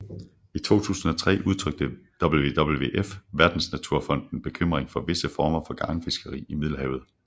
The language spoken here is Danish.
I 2003 udtrykte WWF Verdensnaturfonden bekymring for visse former for garnfiskeri i Middelhavet